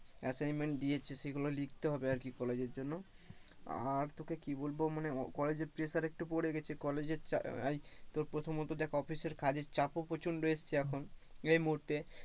Assignment দিয়েছে সেগুলো লিখতে হবে, আর কি কলেজের জন্য আর তোকে কি বলবো মানে কলেজে pressure একটু পরে গেছে কলেজের তোর প্রথমত দেখ অফিসের কাজের চাপ প্রচন্ড এসেছে এখন এই মুহূর্তে,